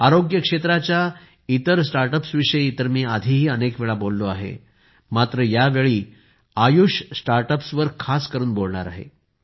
आरोग्य क्षेत्राच्या इतर स्टार्टअप्स विषयी तर मी आधीही अनेक वेळा बोललो आहे मात्र या वेळी आयुष स्टार्टअप्स वर खास करून बोलणार आहे